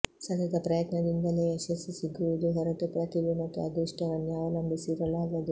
ಸತತ ಪ್ರಯತ್ನದಿಂದಲೇ ಯಶಸ್ಸು ಸಿಗುವುದು ಹೊರತು ಪ್ರತಿಭೆ ಮತ್ತು ಅದೃಷ್ಟವನ್ನೆ ಅವಲಂಬಿಸಿ ಇರಲಾಗದು